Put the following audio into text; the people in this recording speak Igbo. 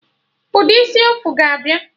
Ụdị isi ọfụ ga abịa